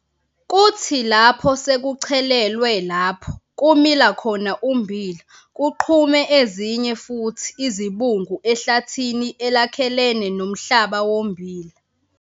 Kuthi lapho sekuchelelwe lapho kumila khona ummbila kuqhume ezinye futhi izibungu ehlathini elakhelene nomhlaba wommbila.